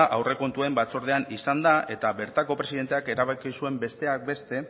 aurrekontuen batzordean izan da eta bertako presidenteak erabaki zuen besteak beste